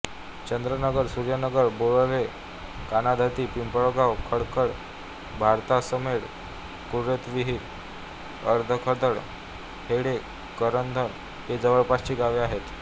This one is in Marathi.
चंद्रनगर सूर्यनगर बोराळे काणाधत्ती पिंपळगाव खडखड भारसातमेट कुतुरविहीर अधखडक हडे करधण ही जवळपासची गावे आहेत